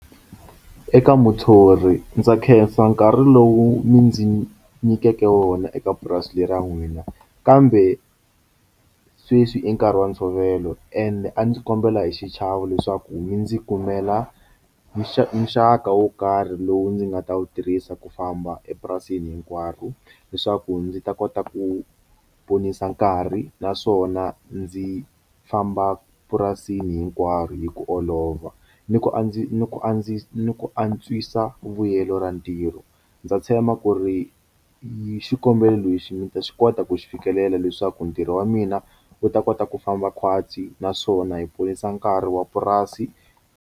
Eka muthori ndza khensa nkarhi lowu mi ndzi nyikeke wona eka purasi leri ra n'wina kambe sweswi i nkarhi wa ntshovelo ende a ndzi kombela hi xichavo leswaku mi ndzi kumela xa nxaka wo karhi lowu ndzi nga ta wu tirhisa ku famba epurasini hinkwaro leswaku ndzi ta kota ku ponisa nkarhi naswona ndzi famba purasini hinkwaro hi ku olova ni ku a ndzi ni ku andzisa ni ku antswisa vuyelo ra ntirho ndza tshemba ku ri hi xikombelo lexi mi ta xi kota ku xi fikelela leswaku ntirho wa mina wu ta kota ku famba khwatsi naswona hi ponisa nkarhi wa purasi.